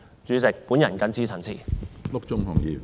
主席，我謹此陳辭。